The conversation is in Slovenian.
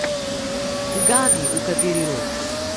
Ugani, v kateri rod.